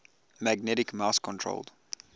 magnetic mouse controlled